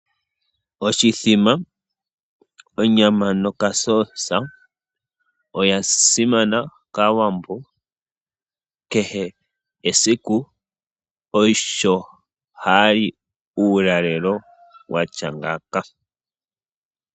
Oshithima, onyama nokatama oya simana kaawambo, oshoka kehe esiku osho ha yali uulalelo watya ngaaka .